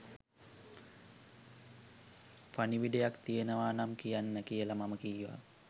පණිවිඩයක් තියෙනවා නම් කියන්න කියල මම කීවා.